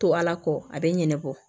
To ala kɔ a bɛ ɲinɛ bɔ